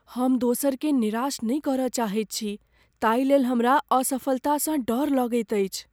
हम दोसरकेँ निराश नहि करय चाहैत छी ताहिलेल हमरा असफलतासँ डर लगैत अछि।